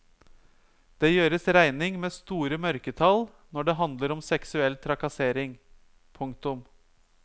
Det gjøres regning med store mørketall når det handler om seksuell trakassering. punktum